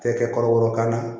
Kɛ kɔrɔbɔrɔkan na